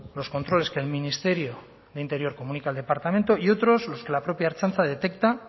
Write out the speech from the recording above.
los controles que el ministerio de interior comunica al departamento y otros los que la propia ertzaintza detecta